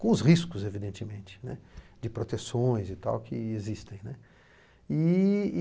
Com os riscos, evidentemente, né, de proteções e tal que existem, né. E e